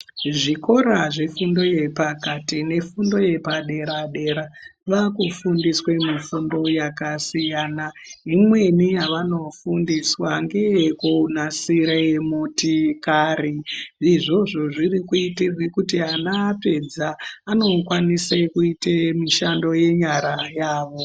Zvikora zvefundo yepakati nefundo yepaderadera vakufundiswe mifundo yakasiyana imweni yavanofundiswa ngeye kunasire motokari izvozvo zvirikuitirwe kuti kana ana apedza anokwanise kuite mishando yenyara dzavo.